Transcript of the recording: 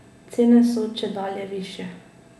Cene so čedalje višje.